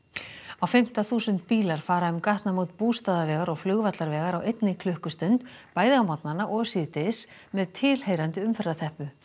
á fimmta þúsund bílar fara um gatnamót Bústaðavegar og Flugvallarvegar á einni klukkustund bæði á morgnana og síðdegis með tilheyrandi umferðarteppu